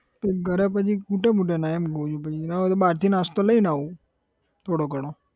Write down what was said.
તો ઘરે પછી ખૂટે બુટે નહીં, ના હોય તો બહારથી નાસ્તો લઇને આવું થોડો ઘણો.